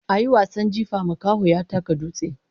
A yi wasan jifa, makaho ya taka dutse.